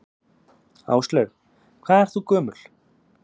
Áslaug: Hvað ert þú gömul?